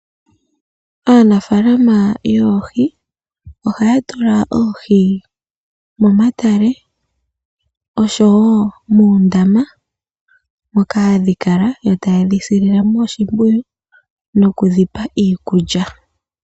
Aanafaalama yoohi ohaya tula oohi momatale oshowo moondama moka hadhi kala e ta yedhi silile mo oshimpwiyu noku dhi pa iikulya.